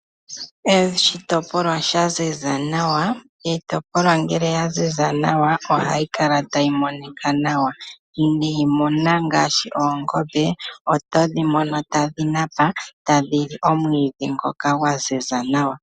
Oshitopolwa shanziza nawa itopolwa ohayi kala tayi monika nawa. Niimuna ngashi Oongombe oto dhimono tadhinapa nawa. Tadhili omwidhi ngoka gwanziza nawa.